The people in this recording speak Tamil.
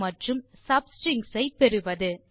மற்றும் sub ஸ்ட்ரிங்ஸ் ஐ பெறுவது